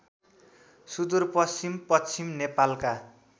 सुदूरपश्चिम पश्चिम नेपालका